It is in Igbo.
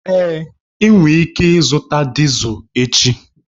Èé, ị nwere ike ịzụta Dizel echi